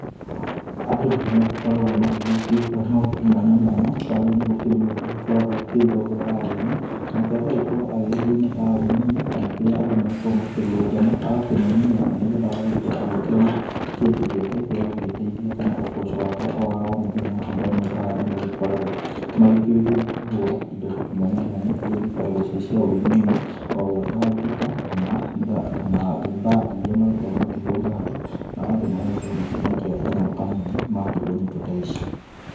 Andũ nĩmagĩkoragwo magĩgĩkĩruta maũndũ mwanya mwanya, ta rĩu nĩ gũkĩrĩ mũndũ ũgĩkoragwo agĩkĩruta ũhoro wa ũini. Nake agagĩkorwo agĩgĩthiĩ mataoninĩ kana kũrĩa andũ magĩkoragwo makĩrũrũngana. Agakĩmainĩra, na nĩ getha agagĩkorwo agĩkĩona kĩndũ gĩake gĩa gũgĩteithia kana ũboco wake o wa o mũthenya. Andũ amwe ta aya nĩmagĩkoragwo magĩkĩũi gũkĩhũra indo mwanya mwanya, iria igĩkoragwo cirĩ cia ũininĩ, o gwata ngita kana, kana bandi iria magĩkoragwo makĩhũrĩra andũ. Nao andũ magagĩkorwo makĩmaikia kanyamũ kanini makĩigua nyĩmbo ta ici.